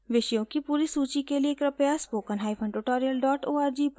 विषयों की पूरी सूची के लिए कृपया